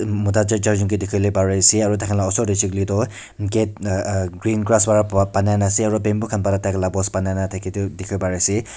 mota ch charjun ke dikhiwole pari ase aro taikhan la osor tey huishe kuile tu gate uh uh green grass wara banai na ase aro bamboo khan wa taila post banai na thake tu dikhiwo pari ase.